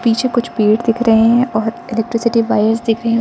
पीछे कुछ पेड़ दिख रहे है और इलेक्ट्रिसिटी वायर्स दिख रहे।